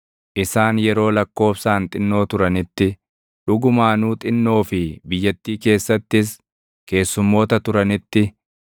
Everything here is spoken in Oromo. Isaan yeroo lakkoobsaan xinnoo turanitti, dhugumaanuu xinnoo fi biyyattii keessattis // keessummoota turanitti,